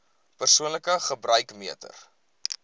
persoonlike gebruik meter